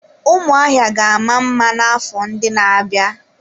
Ụmụahịa ga-ama mma n'afọ ndị na-abịa.